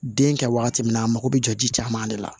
Den kɛ wagati min na a mako bɛ jɔ ji caman de la